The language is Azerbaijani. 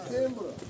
Hüseyn bura.